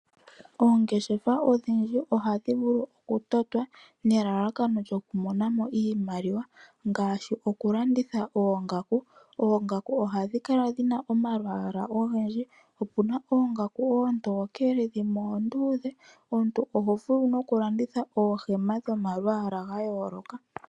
Oongeshefa odhindji ohadhi vulu okutotwa nelalakano lyokumona mo iimaliwa, ngaashi okulanditha oongaku. Oongaku ohadhi kala dhina omalwaala ogendji, opu na oongaku oontokele, dhimwe oonduudhe. Omuntu oho vulu no ku landitha oohema dhomalwaala ga yooloka.